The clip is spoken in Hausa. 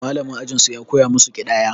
Mallamin ajin su ya koya masu ƙidaya.